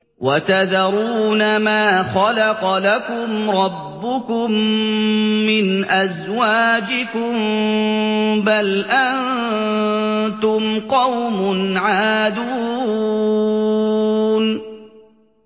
وَتَذَرُونَ مَا خَلَقَ لَكُمْ رَبُّكُم مِّنْ أَزْوَاجِكُم ۚ بَلْ أَنتُمْ قَوْمٌ عَادُونَ